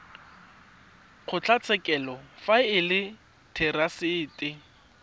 kgotlatshekelo fa e le therasete